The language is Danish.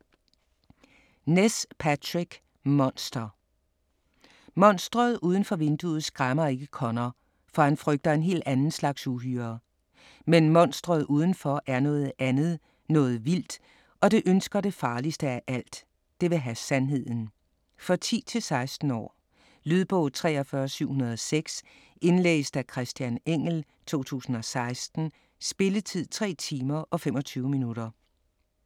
Ness, Patrick: Monster Monsteret udenfor vinduet skræmmer ikke Conor, for han frygter en helt anden slags uhyre. Men monsteret udenfor er noget andet, noget vildt. Og det ønsker det farligste af alt: Det vil have sandheden. For 10-16 år. Lydbog 43706 Indlæst af Christian Engell, 2016. Spilletid: 3 timer, 25 minutter.